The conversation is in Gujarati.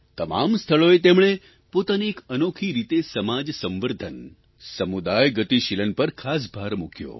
તમામ સ્થળોએ તેમણે પોતાની એક અનોખી રીતે સમાજ સંવર્ધન સમુદાય ગતિશીલન પર ખાસ ભાર મૂક્યો